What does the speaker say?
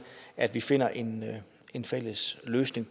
at vi finder en en fælles løsning